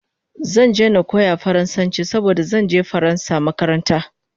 Zan je na koya faransanchi saboda zanje faransa makaranta